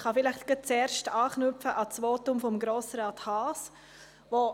Ich knüpfe zuerst an das Votum von Grossrat Haas an.